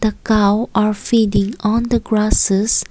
the cow are feeding on the grasses.